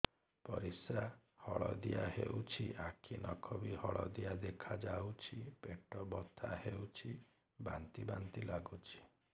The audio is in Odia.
ପରିସ୍ରା ହଳଦିଆ ହେଉଛି ଆଖି ନଖ ବି ହଳଦିଆ ଦେଖାଯାଉଛି ପେଟ ବଥା ହେଉଛି ବାନ୍ତି ବାନ୍ତି ଲାଗୁଛି